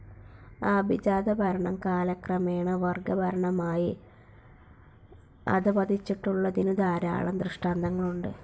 ആഭിജാതഭരണം കാലക്രമേണ വർഗ്ഗഭരണമായി അധപതിച്ചിട്ടുള്ളതിനുധാരാളം ധൃഷ്ട്ടാന്തങ്ങളുണ്ട്.